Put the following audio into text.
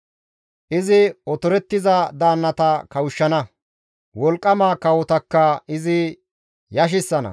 Izi otorettiza daannata kawushshana; wolqqama kawotakka izi yashissana.